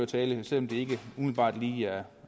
tale selv om det ikke umiddelbart lige er